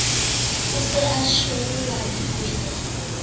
o se a shwele dikweta